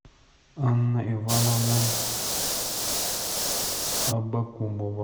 анна ивановна абакумова